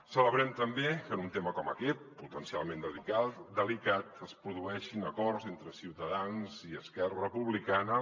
celebrem també que en un tema com aquest potencialment delicat es produeixin acords entre ciutadans i esquerra republicana